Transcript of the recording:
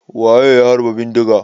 Waye ya harba bindiga?